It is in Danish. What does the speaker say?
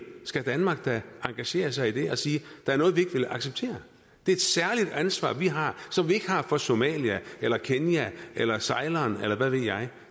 skal danmark da engagere sig i det og sige der er noget vi ikke vil acceptere det er et særligt ansvar vi har som vi ikke har for somalia eller kenya eller ceylon eller hvad ved jeg